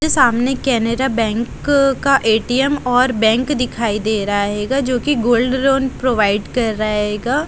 सामने कैनरा बैंक का ए_टी_एम और बैंक दिखाई दे रहा है गा जो कि गोल्ड लोन प्रोवाइड कर रहेगा।